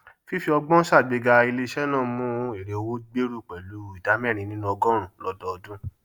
fífí ọgbọn sàgbéga iléisẹ náà mú èrèowó gbèrú pẹlú ìdá mẹrin nínú ọgọrùnún lọdọọdún